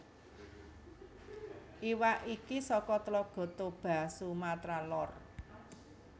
Iwak iki saka Tlaga Toba Sumatera Lor